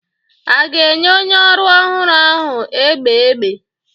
A ga-enye onye ọrụ ọhụrụ ahụ egbe egbe?